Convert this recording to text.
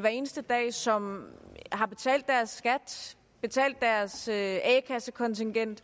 hver eneste dag som har betalt deres skat betalt deres a kassekontingent